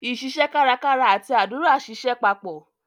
iṣiṣẹ́ kárakára àti àdúrà ṣiṣẹ́ papọ̀.